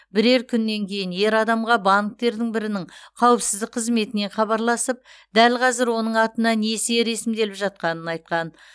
бірер күннен кейін ер адамға банктердің бірінің қауіпсіздік қызметінен хабарласып дәл қазір оның атына несие ресімделіп жатқанын айтқан